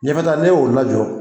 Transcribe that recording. Ɲɛfɛta n'e ye o lajɔ